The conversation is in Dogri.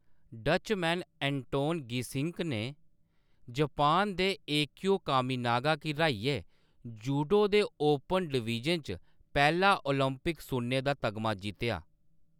डचमैन एंटोन गीसिंक ने जापान दे एकियो कामिनागा गी र्‌हाइयै जूडो दे ओपन डिवीजन च पैह्‌‌ला ओलंपिक सुन्ने दा तगमा जित्तेआ।